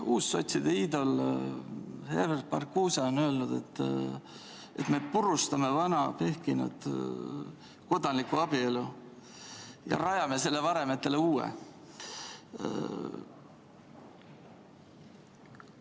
Uussotside iidol Herbert Marcuse on öelnud, et me purustame vana pehkinud kodanliku abielu ja rajame selle varemetele uue.